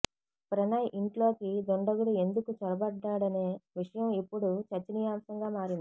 ప్రణయ్ ఇంట్లోకి దుండగుడు ఎందుకు చొరబడ్డాడనే విషయం ఇప్పుడు చర్చనీయాంశంగా మారింది